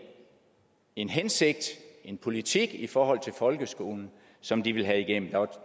en hensigt og en politik i forhold til folkeskolen som de ville have igennem